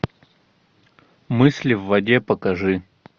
мысли в воде покажи